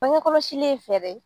Bangekɔlɔsili ye fɛɛrɛ ye